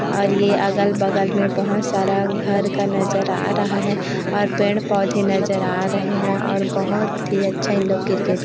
और ये अगल-बगल में बहोत सारा घर का नज़र आ रहा है और पेड़-पौधे नज़र आ रहे है और बहोत ही अच्छा इन लोग क्रिकेट --